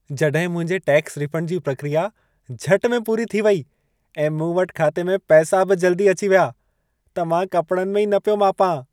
जड॒हिं मुंहिंजे tax refund जी प्रक्रिया झटि में पूरी थी वेई ऐं मूं वटि खाते में पैसा बि जल्दी अची वया, त मां कपड़नि में ई न पियो मापां।